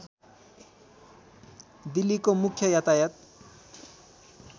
दिल्लीको मुख्य यातायात